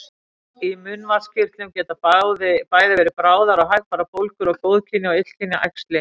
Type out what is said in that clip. Í munnvatnskirtlum geta bæði verið bráðar og hægfara bólgur og góðkynja og illkynja æxli.